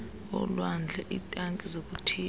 olwandle iitanki zokuthiyela